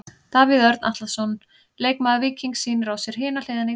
Davíð Örn Atlason, leikmaður Víkings sýnir á sér hina hliðina í dag.